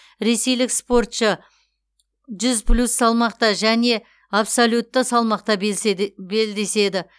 ресейлік спортшы жүз плюс салмақта және абсолютті салмақта белдеседі